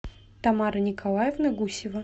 тамара николаевна гусева